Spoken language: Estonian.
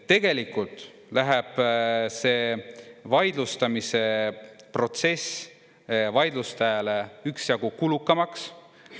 Tegelikult läheb see vaidlustamise protsess vaidlustajale üksjagu kulukamaks.